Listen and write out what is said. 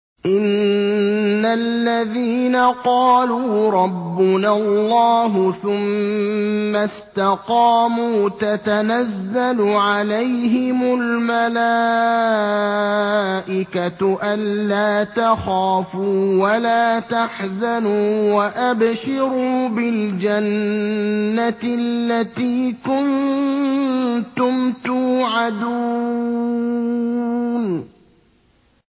إِنَّ الَّذِينَ قَالُوا رَبُّنَا اللَّهُ ثُمَّ اسْتَقَامُوا تَتَنَزَّلُ عَلَيْهِمُ الْمَلَائِكَةُ أَلَّا تَخَافُوا وَلَا تَحْزَنُوا وَأَبْشِرُوا بِالْجَنَّةِ الَّتِي كُنتُمْ تُوعَدُونَ